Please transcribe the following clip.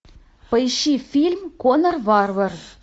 поищи фильм конан варвар